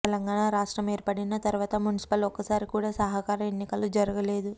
తెలంగాణ రాష్ట్రం ఏర్పడిన తరువాత మున్సిపల్ ఒక్కసారి కూడా సహకార ఎన్నికలు జరగలేదు